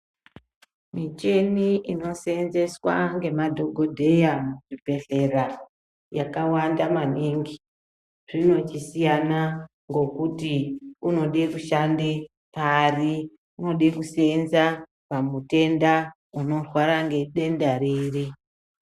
Muchini inosenzeswa ngemadhokodheya kuchibhehlera yakawanda maningi , zvinochisiyana ngokuti unoda kushande pari unode kusenza pamutenda unorwara ngedenda riri.